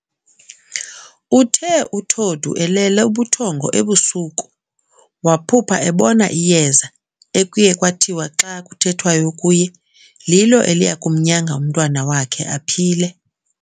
Uthe uTodu elele ubuthongo ebusuku, waphupha ebona iyeza ekuye kwathiwa xa kuthethwayo kuye, lilo eliyakumnyanga umntwana wakhe aphile.